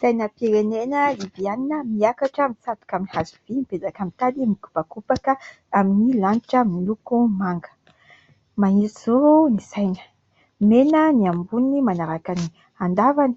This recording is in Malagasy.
Sainam-pirenena Libiana miakatra mitsatoka amin'ny hazo vy mipetraka amin'ny tady mikopakopaka amin'ny lanitra miloko manga, mahitsy zoro ny saina, mena ny amboniny manaraka ny an-davany,